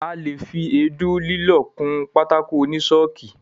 A lè fi èédú lílọ̀ kun pátákó oní ṣọ́ọ̀kì.